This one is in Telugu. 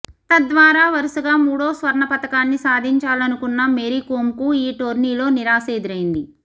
తద్వారా వరుసగా మూడో స్వర్ణ పతకాన్ని సాధించాలనుకున్న మేరీకోమ్కు ఈ టోర్నీలో నిరాశ ఎదురైంది